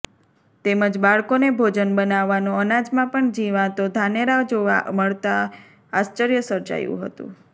તેમજ બાળકોને ભોજન બનાવવાનો અનાજમાં પણ જીવાતો ધાનેરા જોવા મળતા આશ્ચર્ય સર્જાયું હતું